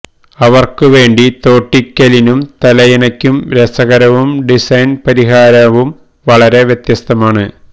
അവർക്ക് വേണ്ടി തോട്ടിക്കലിനും തലയിണയ്ക്കും രസകരവും ഡിസൈൻ പരിഹാരവും വളരെ വ്യത്യസ്തമാണ്